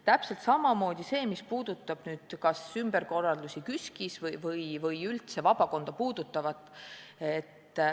Täpselt samamoodi on sellega, mis puudutab ümberkorraldusi KÜSK-is või üldse vabakonda.